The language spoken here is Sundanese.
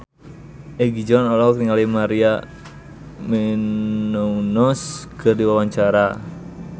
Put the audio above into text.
Egi John olohok ningali Maria Menounos keur diwawancara